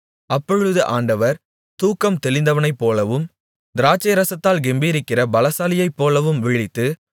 அப்பொழுது ஆண்டவர் தூக்கம் தெளிந்தவனைப்போலவும் திராட்சைரசத்தால் கெம்பீரிக்கிற பலசாலியைப்போலவும் விழித்து